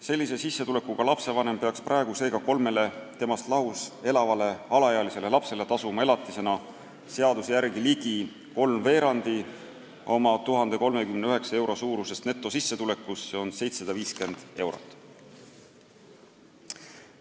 Sellise sissetulekuga lapsevanem peaks praegu kolmele temast lahus elavale alaealisele lapsele tasuma elatisena seaduse järgi ligi kolmveerandi oma 1039 euro suurusest netosissetulekust, s.o 750 eurot.